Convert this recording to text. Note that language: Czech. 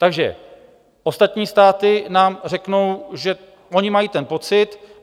Takže ostatní státy nám řeknou, že oni mají ten pocit.